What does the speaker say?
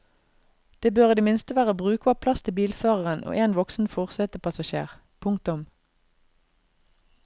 Det bør i det minste være brukbar plass til bilføreren og én voksen forsetepassasjer. punktum